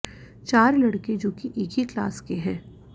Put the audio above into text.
चार लड़के जोकि एक ही क्लास के हैं